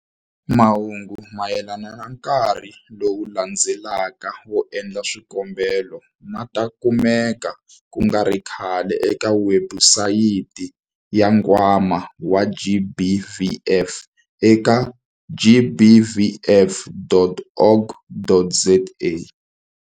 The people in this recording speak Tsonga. Mahungu mayelana na nkarhi lowu landzelaka wo endla swikombelo ma ta kumeka ku nga ri khale eka webusayiti ya Nkwama wa GBVF eka- gbvf.org.za.